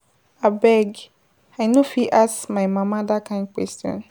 Abeg, I no go fit ask my mama dat kin question.